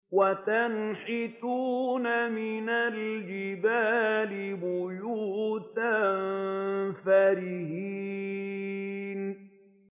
وَتَنْحِتُونَ مِنَ الْجِبَالِ بُيُوتًا فَارِهِينَ